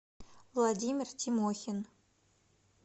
владимир тимохин